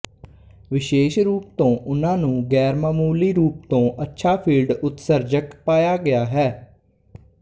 ਵਿਸ਼ੇਸ਼ ਰੂਪ ਤੋਂ ਉਨ੍ਹਾਂਨੂੰ ਗ਼ੈਰਮਾਮੂਲੀ ਰੂਪ ਤੋਂ ਅੱਛਾ ਫੀਲਡ ਉਤਸਰਜਕ ਪਾਇਆ ਗਿਆ ਹੈ